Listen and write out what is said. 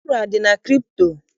Uru adị na kripto?